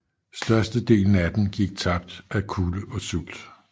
Størstedelen af den gik tabt af kulde og sult